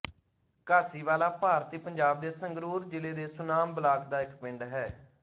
ਘਾਸੀਵਾਲਾ ਭਾਰਤੀ ਪੰਜਾਬ ਦੇ ਸੰਗਰੂਰ ਜ਼ਿਲ੍ਹੇ ਦੇ ਸੁਨਾਮ ਬਲਾਕ ਦਾ ਇੱਕ ਪਿੰਡ ਹੈ